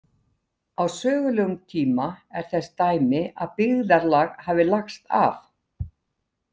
Á sögulegum tíma er þess dæmi að byggðarlag hafi lagst af.